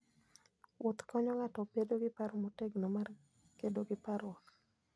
Wuoth konyo ng'ato bedo gi paro motegno mar kedo gi parruok.